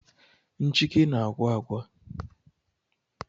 Nchịkị na-agwa agwa